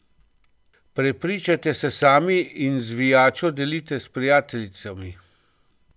Prepričajte se sami in zvijačo delite s prijateljicami.